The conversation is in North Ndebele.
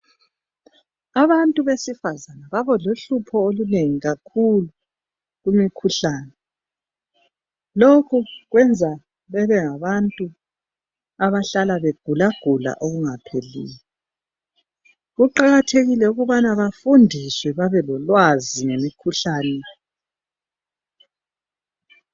Abantu besifazana baba lohlupho olunengi kakhulu kumikhuhlane. Lokhu kwenza bebe ngabantu abahlala begulagula okungapheliyo .Kuqakathekile ukubana bafundiswe babe lolwazi ngemikhuhlane.